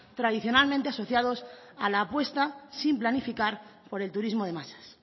tradicionalmente asociados a la apuesta sin planificar por el turismo de masas